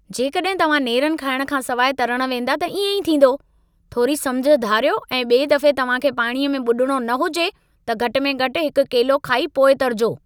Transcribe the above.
जेकॾहिं तव्हां नेरन खाइण खां सिवाइ तरण वेंदा त इएं ई थींदो। थोरी समिझ धारियो ऐं ॿिए दफ़े तव्हां खे पाणीअ में ॿुॾणो न हुजे, त घटि में घटि हिकु केलो खाई पोइ तरिजो।